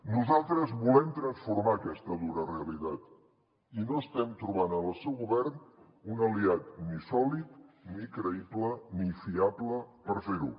nosaltres volem transformar aquesta dura realitat i no estem trobant en el seu govern un aliat ni sòlid ni creïble ni fiable per fer ho